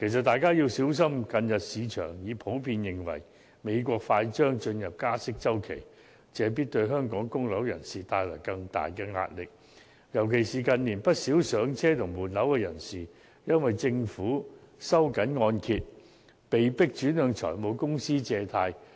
大家要小心，近日市場普遍認為美國快將進入加息周期，這必然會對香港的供樓人士帶來更大壓力，尤其是近年不少上車及換樓人士已因政府收緊按揭，被迫轉向財務公司借貸。